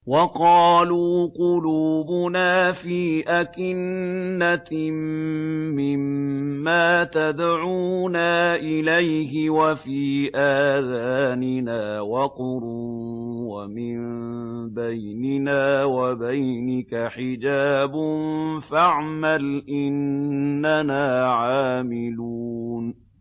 وَقَالُوا قُلُوبُنَا فِي أَكِنَّةٍ مِّمَّا تَدْعُونَا إِلَيْهِ وَفِي آذَانِنَا وَقْرٌ وَمِن بَيْنِنَا وَبَيْنِكَ حِجَابٌ فَاعْمَلْ إِنَّنَا عَامِلُونَ